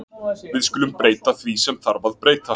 Við skulum breyta því sem þarf að breyta.